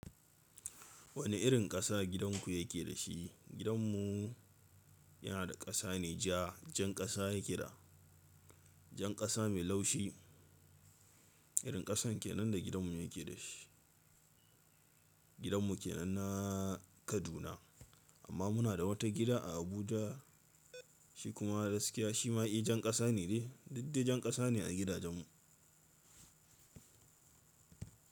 Wani irin ƙasa gidanku yake da shi? Gidanmu yana da ƙasa ne ja, jan ƙasa yake da jan ƙasa mai laushi. Irin ƙasan kenan da gidanmu yake da shi. Gidanmu kenan na Kaduna amma muna da wata gida a Abuja shi kuma da gaskiya shi ma i jan ƙasa ne de, duddai jan ƙasa ne a gidajenmu.